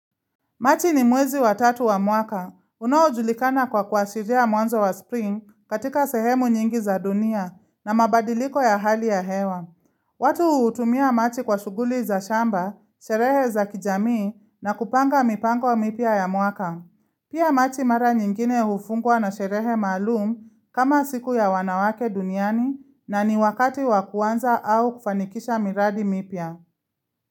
Machi ni mwezi wa tatu wa mwaka. Unaojulikana kwa kuashiria mwanzo wa spring katika sehemu nyingi za dunia na mabadiliko ya hali ya hewa. Watu hutumia machi kwa shughuli za shamba, sherehe za kijamii na kupanga mipango mipya ya mwaka. Pia machi mara nyingine hufungwa na sherehe maalum kama siku ya wanawake duniani na ni wakati wakuanza au kufanikisha miradi mipya.